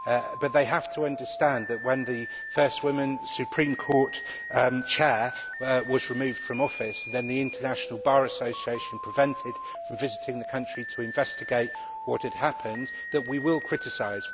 But they have to understand that, if the first woman Supreme Court Chair is removed from office and then the International Bar Association is prevented from visiting the country to investigate what has happened, we will criticise.